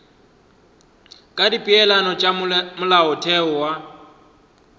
ka dipeelano tša molaotheo wa